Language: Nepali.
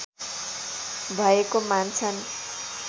भएको मान्छन्